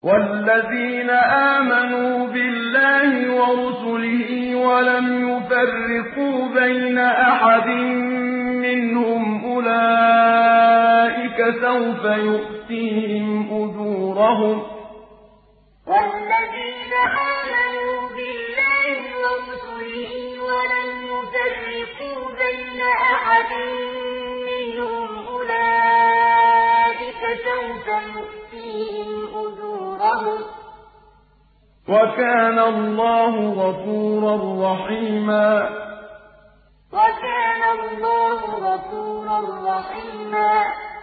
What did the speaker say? وَالَّذِينَ آمَنُوا بِاللَّهِ وَرُسُلِهِ وَلَمْ يُفَرِّقُوا بَيْنَ أَحَدٍ مِّنْهُمْ أُولَٰئِكَ سَوْفَ يُؤْتِيهِمْ أُجُورَهُمْ ۗ وَكَانَ اللَّهُ غَفُورًا رَّحِيمًا وَالَّذِينَ آمَنُوا بِاللَّهِ وَرُسُلِهِ وَلَمْ يُفَرِّقُوا بَيْنَ أَحَدٍ مِّنْهُمْ أُولَٰئِكَ سَوْفَ يُؤْتِيهِمْ أُجُورَهُمْ ۗ وَكَانَ اللَّهُ غَفُورًا رَّحِيمًا